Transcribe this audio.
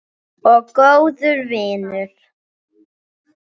Og góður vinur.